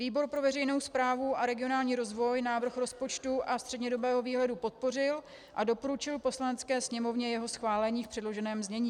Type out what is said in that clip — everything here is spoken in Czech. Výbor pro veřejnou správu a regionální rozvoj návrh rozpočtu a střednědobého výhledu podpořil a doporučil Poslanecké sněmovně jeho schválení v předloženém znění.